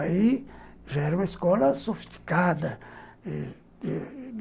Aí já era uma escola sofisticada eh eh